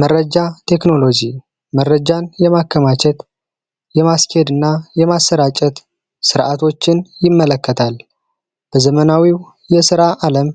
መረጃ ቴክኖሎጂ መረጃን የማከማቸት የማስኬድ እና የማሰራጨት ሥርዓቶችን ይመለከታል። በዘመናዊው የሥራ ዓለም